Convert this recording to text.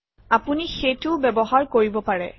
আপুনি সেইটোও ব্যৱহাৰ কৰিব পাৰে